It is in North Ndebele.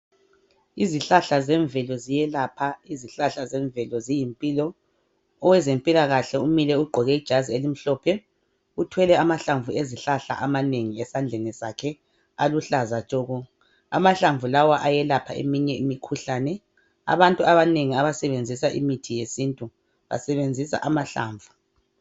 Izihlahla zemvelo ziyelapha izihlahla zemvelo ziyimpilo owezempilakahle umile ugqoke ijazi elimhlophe uthwele amahlamvu ezihlahla amanengi esandleni sakhe aluhlaza tshoko amahlamvu lawa ayelapha eminye imikhuhlane abantu abanengi abasebenzisa imithi yesintu basebenzisa amahlamvu.